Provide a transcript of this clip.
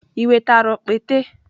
I wetara okpete?